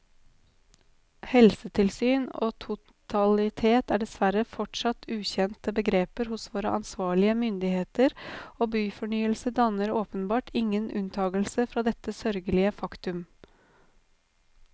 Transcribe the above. Helhetssyn og totalitet er dessverre fortsatt ukjente begreper hos våre ansvarlige myndigheter, og byfornyelse danner åpenbart ingen unntagelse fra dette sørgelige faktum.